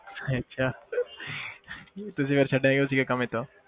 ਅੱਛਾ ਤੁਸੀਂ ਫਿਰ ਛੱਡਿਆ ਕਿਉਂ ਸੀ ਇਹ ਕੰਮ ਏਦਾਂ।